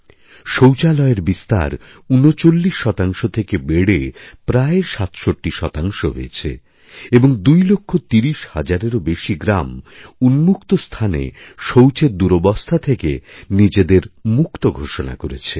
শৌচালয়ের বিস্তার ৩৯শতাংশ থেকে বেড়ে ৬৭ শতাংশ হয়েছে এবং ২ লক্ষ ৩০ হাজারেরও বেশি গ্রাম উন্মুক্তস্থানে শৌচের দুরবস্থা থেকে নিজেদের মুক্ত ঘোষণা করেছেন